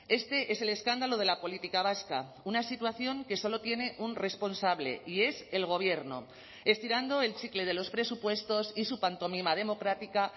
este es el escándalo de la política vasca una situación que solo tiene un responsable y es el gobierno estirando el chicle de los presupuestos y su pantomima democrática